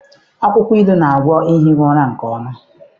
Akwụkwọ ilu na-agwọ ehighị ụra nke ọma.